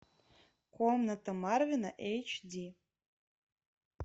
комната марвина эйч ди